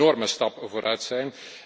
Dat zou een enorme stap vooruit zijn.